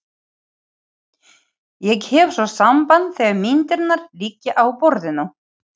Ég hef svo samband þegar myndirnar liggja á borðinu.